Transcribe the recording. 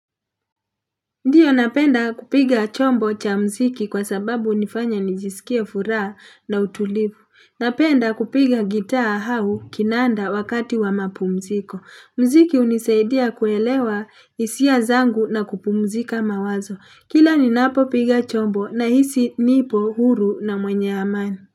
Ndio napenda kupiga chombo cha mziki kwa sababu hunifanya nijisikie furaha na utulivu. Napenda kupiga gitaa au kinanda wakati wa mapumziko. Mziki hunisaidia kuelewa hisia zangu na kupumzika mawazo. Kila ninapo piga chombo na hisi nipo huru na mwenye amani.